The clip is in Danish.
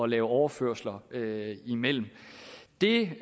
lave overførsler imellem det